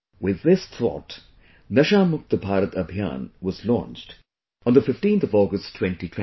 With this thought, 'NashaMukt Bharat Abhiyan' was launched on the 15 August 2020